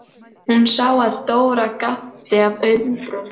Hún sá að Dóra gapti af undrun.